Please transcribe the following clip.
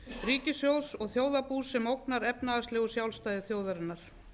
ríkissjóðs og þjóðarbús sem ógnar efnahagslegu sjálfstæði þjóðarinnar